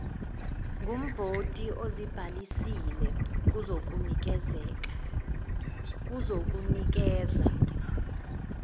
ngumvoti ozibhalisile kuzokunikeza